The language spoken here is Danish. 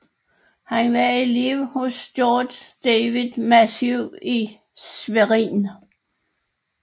Han var elev hos Georg David Matthieu i Schwerin